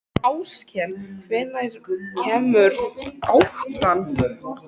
Áskell, hvenær kemur áttan?